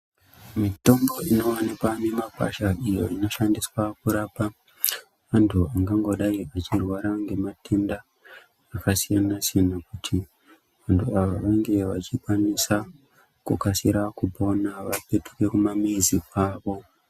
Mitombo inowanikwa mumakwasha iyo Inoshandiswa kurapa muntu angangodai anorwara nematenda akasiyana siyana kuti muntu ange achikwanisa kukasira kupona apetuke kumamizi kwawo.